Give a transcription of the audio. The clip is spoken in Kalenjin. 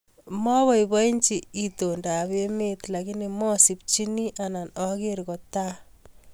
Mapaipachi itondaap emeet lakini masimchinii Anan ageer kotaaa